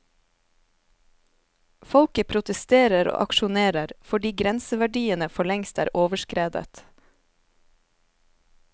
Folket protesterer og aksjonerer, fordi grenseverdiene forlengst er overskredet.